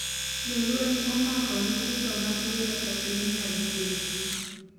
jolweny "omako" nyithindo matindo e piny Naijeria